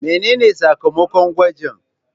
Mene ne sakamakon gwajin?